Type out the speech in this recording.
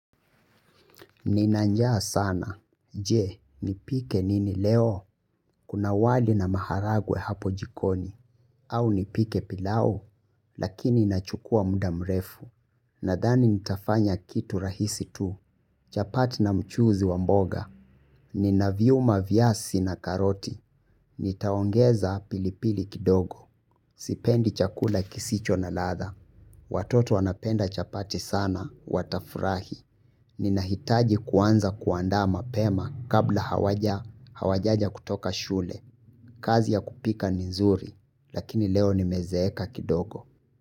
Nina njaa sana, je, nipike nini leo, kuna wali na maharagwe hapo jikoni, au nipike pilau, lakini nachukua muda mrefu, nadhani nitafanya kitu rahisi tu, chapati na mchuzi wamboga, ninaviunga viazi na karoti, nitaongeza pilipili kidogo, sipendi chakula kisicho na ladha, watoto wanapenda chapati sana, watafurahi, ninahitaji kuanza kuandama pema kabla hawajaja kutoka shule. Kazi ya kupika nizuri, lakini leo ni mezeeka kidogo.